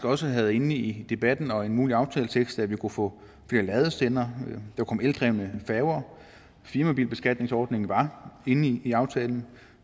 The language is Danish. også havde inde i debatten og en mulig aftaletekst at vi kunne få flere ladestandere og kom eldrevne færger firmabilbeskatningsordningen var inde i aftalen